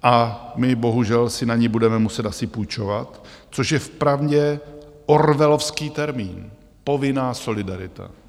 A my bohužel si na ni budeme muset asi půjčovat, což je vpravdě orwellovský termín: povinná solidarita.